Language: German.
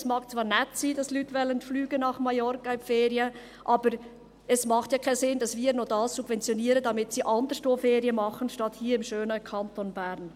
Es mag zwar nett sein, dass Leute nach Mallorca in die Ferien fliegen wollen, aber es macht ja keinen Sinn, dass wir dies subventionieren, damit sie anderswo Ferien machen, statt hier im schönen Kanton Bern.